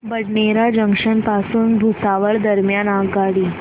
Badnera junction पासून भुसावळ दरम्यान आगगाडी